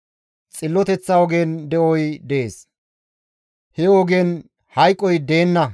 Xilloteththa ogen de7oy dees; he ogen hayqoy deenna.